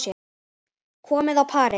Komin á parið.